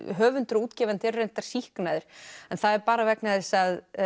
höfundur og útgefandi eru reyndar sýknaðir en það er bara vegna þess að